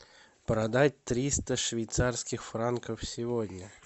продать триста швейцарских франков сегодня